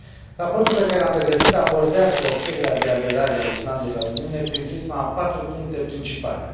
Raportul pe care l am pregătit abordează cererea de aderare a Islandei la Uniune prin prisma a patru puncte principale.